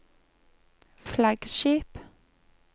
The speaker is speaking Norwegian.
flaggskip